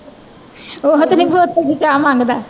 ਉਹ ਤੇ ਨੀ ਬੋਤਲ ਚ ਚਾਹ ਮੰਗਦਾ